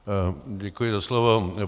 Děkuji za slovo.